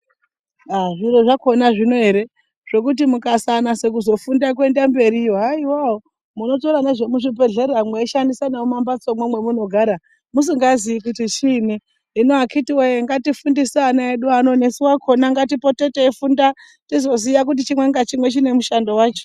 Aaa zviro zvakhona zvinoere, zvekuti mungasanasa kuzofunda kuenda mberiyo, haiwawo munotora nezvemuzvibhedhlera mweisandisa nemumambatsomwo mwamunogara musingazii kuti chiini, hino akhitiwoye ngatifundise ana edu ano nesu wakhona ngatipote teifunda tizoziya kuti chimwe ngachimwe chinemushando wacho.